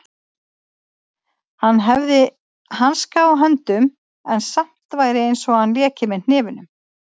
Hann hefði hanska á höndum en samt væri einsog hann léki með hnefunum.